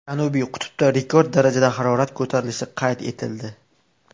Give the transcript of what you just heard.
Janubiy qutbda rekord darajada harorat ko‘tarilishi qayd etildi.